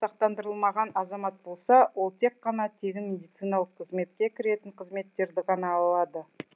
сақтандырылмаған азамат болса ол тек қана тегін медициналық қызметке кіретін қызметтерді ғана ала алады